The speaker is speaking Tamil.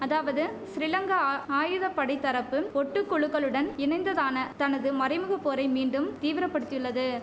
அதாவது சிறிலங்கா ஆயுதப்படைத்தரப்பு ஒட்டுக்குழுக்களுடன் இணைந்ததான தனது மறைமுகப்போரை மீண்டும் தீவிர படுத்தியுள்ளது